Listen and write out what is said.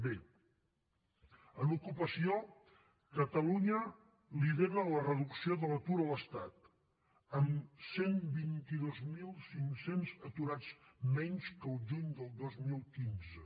bé en ocupació catalunya lidera la reducció de l’atur a l’estat amb cent i vint dos mil cinc cents aturats menys que el juny del dos mil quinze